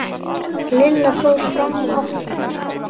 Lilla fór fram og opnaði.